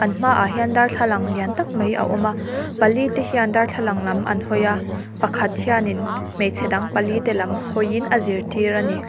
an hmaah hian darthlalang lian tak mai a awm a pali te hian darthlalang lam an hawi a pakhat hianin hmeichhe dang pali te lam hawiin a zirtir a ni.